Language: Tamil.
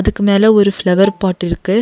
அதுக்கு மேல ஒரு ஃப்ளவர் பாட் இருக்கு.